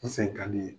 N sen ka di n ye